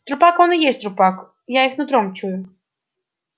трупак он и есть трупак я их нутром чую